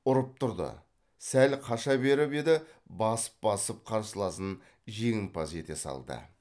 ұрып тұрды сәл қаша беріп еді басып басып қарсыласын жеңімпаз ете салды